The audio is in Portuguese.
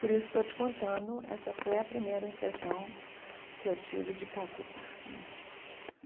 Por isso estou te contando, essa foi a primeira impressão que eu tive de Calcutá né.